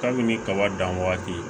Kabini kaba dan waati